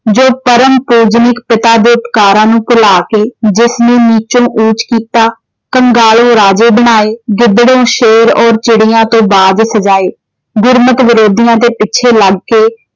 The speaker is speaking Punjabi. ਜੋ ਪਰਮ ਪੂਜਨਿਕ ਪਿਤਾ ਦੇ ਉਪਕਾਰਾਂ ਨੂੰ ਭੁਲਾ ਕੇ ਜਿਸ ਨੂੰ ਨੀਚਉਂ ਊਚ ਕੀਤਾ ਕੰਗਾਲੋਂ ਰਾਜੇ ਬਣਾਏ, ਗਿੱਦੜੋਂ ਸ਼ੇਰ ਔਰ ਚਿੜੀਆਂ ਤੋਂ ਬਾਜ ਸਜਾਏ।